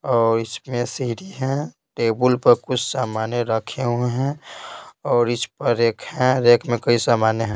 और इसमें सीडी है टेबल पर कुछ सामान रखे हुए हैं और इस पर एक है रेख में कई सामान है।